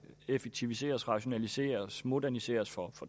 effektiviseres rationaliseres moderniseres for